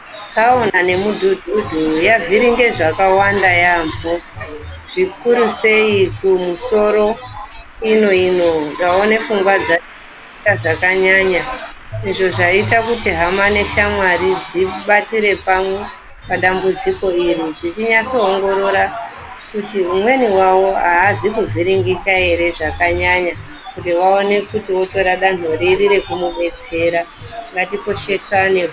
Tsaona nemudhudhudhu yavhiringe zvakawanda yaampho zvikurusei kumusoro ino ino ndaone pfungwa zvakanyanya izvo zvaita kuti hama neshamwari dzibatire pamwe padambudziko iri dzichinyasoongorora kuti umweni wavo aazi kuvhiringika ere zvakanyanya kuti vaone kuti voyora danho riri rekumubetsera, ngatikoshesane.